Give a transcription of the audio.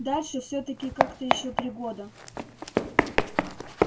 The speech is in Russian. дальше всё-таки как-то ещё три года